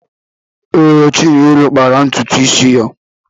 Ee, Chinelo kpara ntutu isi ya.